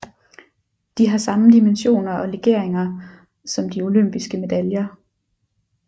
De har samme dimensioner og legeringer som de olympiske medaljer